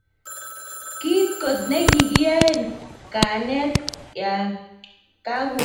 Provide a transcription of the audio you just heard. kikiit kot ne kikiyoen kanaanet ya kakubata dakikosiek tamanu